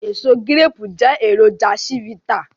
Èso gíréépù jẹ́ èròjà chivita